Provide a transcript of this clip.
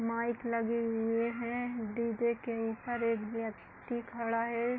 Mic लगे हुए हैं। डी जे के ऊपर एक व्यक्ति खड़ा है।